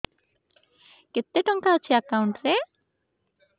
କେତେ ଟଙ୍କା ଅଛି ଏକାଉଣ୍ଟ୍ ରେ